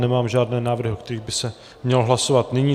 Nemám žádné návrhy, o kterých by se mělo hlasovat nyní.